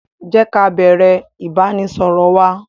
Jé ká bẹ̀rẹ̀ ìbánisọọ̀rọ̀ wa!